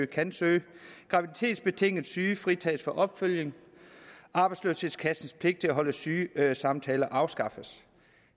kan søge graviditetsbetinget syge fritages for opfølgning og arbejdsløshedskassens pligt til at holde sygesamtaler afskaffes